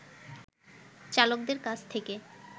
চালকদের কাছ থেকে